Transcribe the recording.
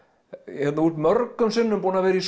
hérna þú ert mörgum sinnum búinn að vera í